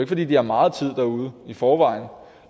fordi de har meget tid derude i forvejen